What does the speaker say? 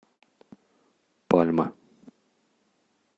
пальма